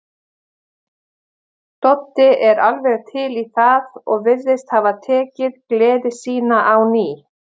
Doddi er alveg til í það og virðist hafa tekið gleði sína á ný.